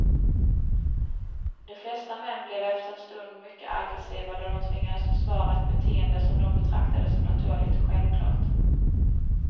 De flesta män blev efter en stund mycket aggressiva då de tvingades försvara ett beteende som de betraktade som naturligt och självklart.